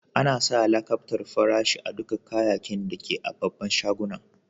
Ana sa lakabtar farashi a dukan kayakin da ke a'babban shagunan.